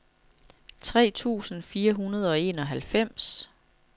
tre tusind fire hundrede og enoghalvfems